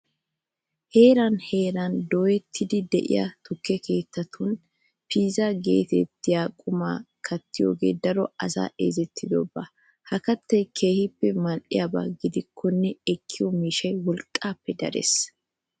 Heeran heeran dooyettiiddi de'iya tukke keettatun piizaa geetettiya qumaa kattiyogee daro asay ezetidoba. Ha kattay keehippe mal"iyaba gidikkonne ekkiyo miishshay wolqqaappe darees.